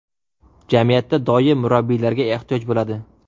Jamiyatda doim murabbiylarga ehtiyoj bo‘ladi.